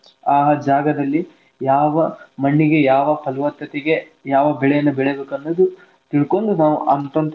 ಆ ಆ ಜಾಗದಲ್ಲಿ ಯಾವ ಮಣ್ಣಿಗೆ ಯಾವ ಫಲವತ್ತತೆಗೆ ಯಾವ ಬೆಳೆಯನ್ನ ಬೆಳಿಬೇಕ್ ಅನ್ನೋದು ತಿಳಕೊಂಡು ನಾವ್.